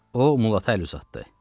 O Mulata əl uzatdı.